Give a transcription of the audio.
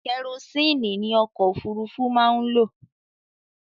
Kerosini ni Ọkọ òfúrufú máa ń lo